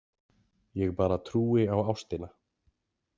Ég bara trúi á ástina.